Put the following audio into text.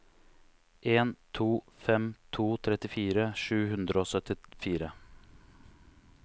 en to fem to trettifire sju hundre og syttifire